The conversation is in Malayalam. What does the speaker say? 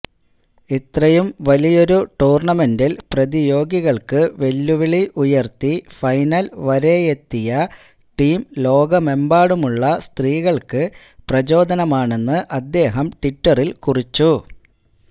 ഇത്രയും വലിയൊരു ടൂർണമെന്റിൽ പ്രതിയോഗികൾക്ക് വെല്ലുവിളി ഉയർത്തി ഫൈനൽ വരെയെത്തിയ ടീം ലോകമെമ്പാടുമുള്ള സ്ത്രീകൾക്ക് പ്രചോദനമാണെന്ന് അദ്ദേഹം ട്വിറ്ററിൽ കുറിച്ചു